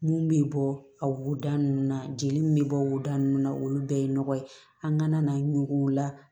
Mun bɛ bɔ a wolo nunnu na jeli min bɛ bɔ woda ninnu na olu bɛɛ ye nɔgɔ ye an ka na ɲugu la